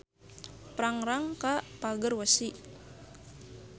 Prangrang ka Pagerwesi.